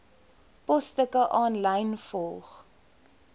posstukke aanlyn volg